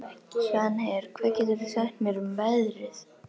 Svanheiður, hvað geturðu sagt mér um veðrið?